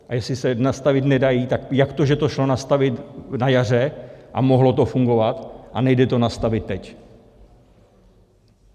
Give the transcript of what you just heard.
A jestli se nastavit nedají, tak jak to, že to šlo nastavit na jaře a mohlo to fungovat, a nejde to nastavit teď?